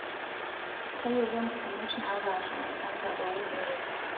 Tayiolo mpukunot naapaasha e kansa oolki.